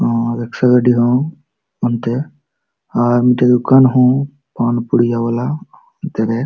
ᱟᱨ rickshaw ᱦᱚ ᱚᱱᱛᱮ ᱟᱨ ᱢᱤᱫᱴᱮᱱ ᱯᱩᱲᱤᱭᱟᱹ ᱣᱟᱞᱟ ᱦᱚ ᱚᱱᱛᱤ ᱨᱮ --